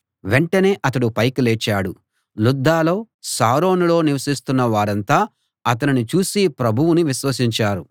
వెంటనే అతడు పైకి లేచాడు లుద్దలో షారోనులో నివసిస్తున్న వారంతా అతనిని చూసి ప్రభువును విశ్వసించారు